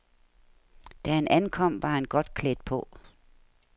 Da han ankom var han godt klædt på.